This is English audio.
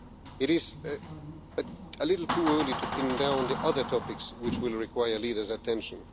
It is a little too early to pin down the other topics which will require leaders' attention.